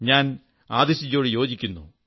ഞാൻ ആതിശ് ജിയോടു യോജിക്കുന്നു